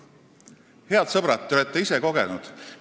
Head sõbrad, te olete seda ise kogenud.